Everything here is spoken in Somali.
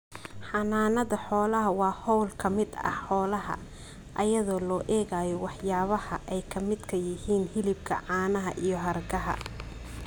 Xanaanada xoolaha waa hawl ka mid ah xoolaha iyadoo loo eegayo waxyaabaha ay ka midka yihiin hilibka, caanaha iyo hargaha.